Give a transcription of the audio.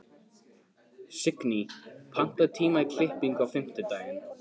Signý, pantaðu tíma í klippingu á fimmtudaginn.